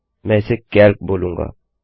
मैं इसे कैल्क बोलूँगा